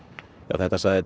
þetta sagði